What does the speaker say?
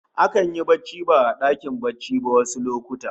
Akan yi barci ba a dakin barci ba wasu lokuta